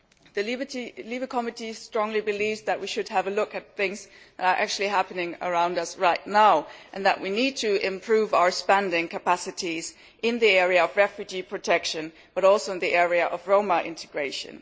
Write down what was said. The Committee on Civil Liberties strongly believes that we should look at what is actually happening around us right now and that we need to improve our spending capacities in the area of refugee protection as well as in the area of Roma integration.